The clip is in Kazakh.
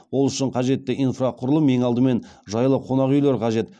ол үшін қажетті инфрақұрылым ең алдымен жайлы қонақүйлер қажет